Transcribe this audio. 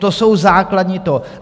To jsou základní to...